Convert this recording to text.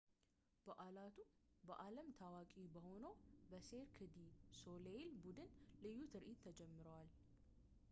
በዓላቱ በዓለም ታዋቂ በሆነው በ ሴርክ ዲ ሶሌይል ቡድን ልዩ ትርኢት ተጀምረዋል